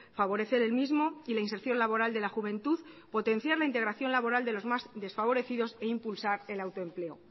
favorecer el mismo y la inserción laboral de la juventud potenciar la integración laboral de los más desfavorecidos e impulsar el autoempleo